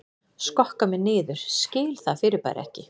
Skokka mig niður skil það fyrirbæri ekki